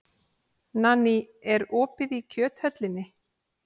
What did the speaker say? Nanný, er opið í Kjöthöllinni?